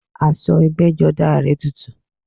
Aṣọ ẹgbẹ́jọdá rẹ̀ tutù